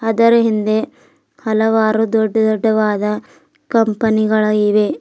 ಅದರ ಹಿಂದೆ ಹಲವಾರು ದೊಡ್ಡ ದೊಡ್ಡವಾದ ಕಂಪನಿ ಗಳು ಇವೆ.